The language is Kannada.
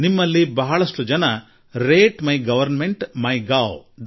ನಿಮ್ಮಲ್ಲಿ ಬಹಳಷ್ಟು ಜನ ರೇಟ್ಮೈಗವರ್ನ್ಮೆಂಟ್ಮಿಗೊವ್